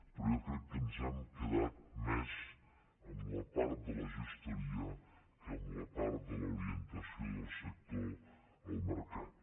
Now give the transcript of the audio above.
però jo crec que ens hem quedat més amb la part de la gestoria que amb la part de l’orientació del sector al mercat